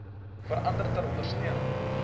verander ter ondersteuning